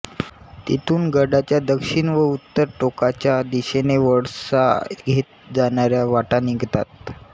तिथून गडाच्या दक्षिण व उत्तर टोकाच्या दिशेने वळसा घेत जाणाऱ्या वाटा निघतात